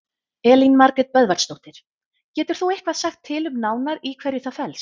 Elín Margrét Böðvarsdóttir: Getur þú eitthvað sagt til um nánar í hverju það felst?